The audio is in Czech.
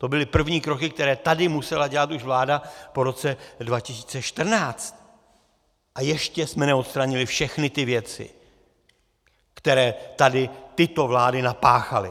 To byly první kroky, které tady musela dělat už vláda po roce 2014, a ještě jsme neodstranili všechny ty věci, které tady tyto vlády napáchaly.